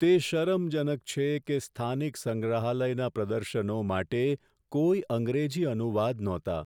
તે શરમજનક છે કે સ્થાનિક સંગ્રહાલયના પ્રદર્શનો માટે કોઈ અંગ્રેજી અનુવાદ નહોતા.